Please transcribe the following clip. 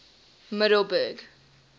middelburg